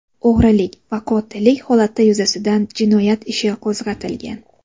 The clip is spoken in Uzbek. O‘g‘rilik va qotillik holati yuzasidan jinoyat ishi qo‘zg‘atilgan.